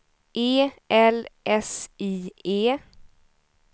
E L S I E